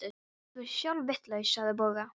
Þú ert sjálf vitlaus sagði Bogga.